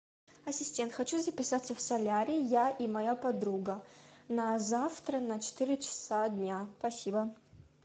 ассистент хочу записаться в солярий я и моя подруга на завтра на четыре часа дня спасибо